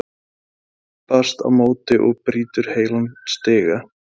Maðurinn stimpast á móti og brýtur heilan stiga!